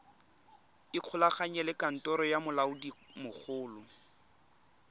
ikgolaganye le kantoro ya molaodimogolo